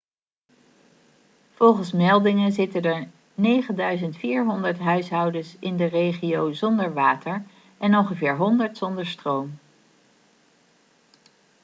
volgens meldingen zitten er 9400 huishouden in de regio zonder water en ongeveer 100 zonder stroom